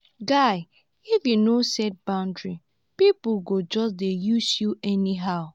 guy if you no set boundaries pipo go just dey use you anyhow.